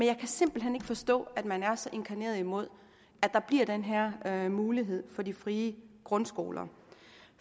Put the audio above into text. jeg kan simpelt hen ikke forstå at man er så inkarneret imod at der bliver den her her mulighed for de frie grundskoler